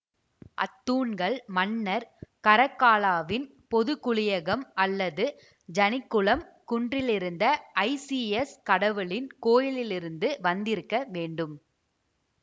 அத்தூண்கள் மன்னர் கரக்கால்லாவின் பொதுக்குளியகம் அல்லது ஜனிக்குலம் குன்றிலிருந்த ஐசிஎஸ் கடவுளின் கோவிலிலிருந்து வந்திருக்க வேண்டும்